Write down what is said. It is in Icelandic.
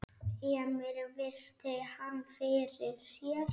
Emil virti hann fyrir sér.